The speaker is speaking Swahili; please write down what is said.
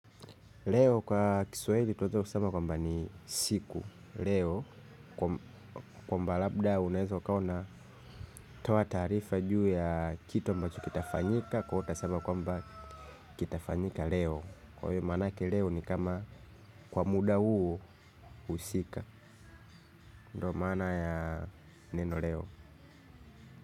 Leo kwa kiswahili twaweza kusema kwamba ni siku leo kwamba labda unaweza ukawa unatoa taarifa juu ya kitu ambacho kitafanyika. Kwa hiyo utasema kwamba kitafanyika Leo. Kwa hiyo maanake leo ni kama kwa muda huu husika. Ndo maana ya neno leo.